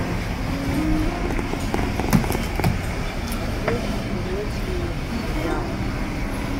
смотреть турецкие сериалы